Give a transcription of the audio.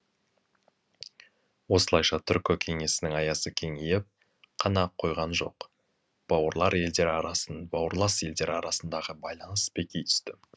осылайша түркі кеңесінің аясы кеңейіп қана қойған жоқ бауырлас елдер арасындағы байланыс беки түсті